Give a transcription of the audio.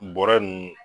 Bɔrɛ ninnu